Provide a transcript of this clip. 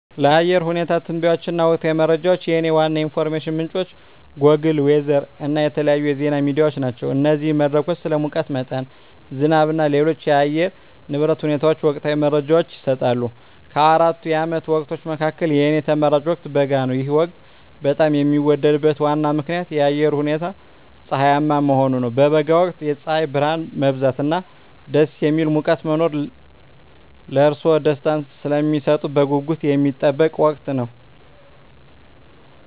ለአየር ሁኔታ ትንበያዎች እና ወቅታዊ መረጃዎች፣ የእኔ ዋና የኢንፎርሜሽን ምንጮች ጎግል ዌዘር እና የተለያዩ የዜና ሚዲያዎች ናቸው። እነዚህ መድረኮች ስለ ሙቀት መጠን፣ ዝናብ እና ሌሎች የአየር ንብረት ሁኔታዎች ወቅታዊ መረጃዎችን ይሰጣሉ። ከአራቱ የዓመት ወቅቶች መካከል፣ የእኔ ተመራጭ ወቅት በጋ ነው። ይህ ወቅት በጣም የሚወደድበት ዋና ምክንያት የአየሩ ሁኔታ ፀሐያማ መሆኑ ነው። በበጋ ወቅት የፀሐይ ብርሃን መብዛት እና ደስ የሚል ሙቀት መኖር ለእርስዎ ደስታን ስለሚሰጡት በጉጉት የሚጠበቅ ወቅት ነው።